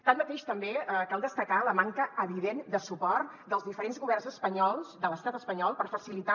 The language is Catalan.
tanmateix també cal destacar la manca evident de suport dels diferents governs espanyols de l’estat espanyol per facilitar